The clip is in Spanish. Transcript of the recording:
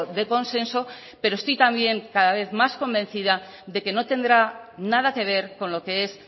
de consenso pero estoy también cada vez más convencida de que no tendrá nada que ver con lo que es